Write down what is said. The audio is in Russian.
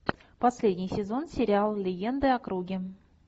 последний сезон сериал легенды о круге